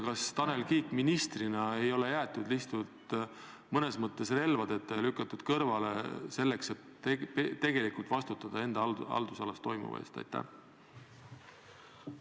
Kas Tanel Kiik ministrina ei ole jäetud lihtsalt mõnes mõttes relvadeta ja lükatud kõrvale sellest, et tegelikult enda haldusalas toimuva eest vastutada?